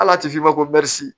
Ala ti f'i ma ko